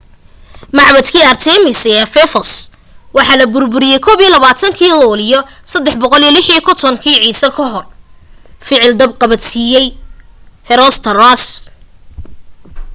macbadkii artemis ee efesos waxaa la burburiyey 21-kii luulyo 356 ciise kahor ficil dab qabadsiiyay herostratus